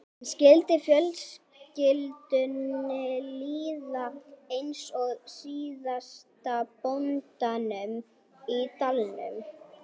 En skyldi fjölskyldunni líða eins og síðasta bóndanum í dalnum?